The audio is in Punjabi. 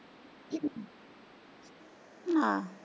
ਹਾਂ।